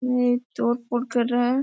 ये तोड़ फोड़ कर रहा है।